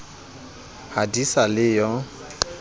ha di sa le yo